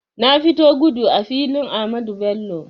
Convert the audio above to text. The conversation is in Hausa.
Na fita gudu a filin Ahmadu Bello